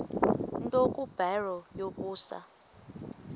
nto kubarrow yokusa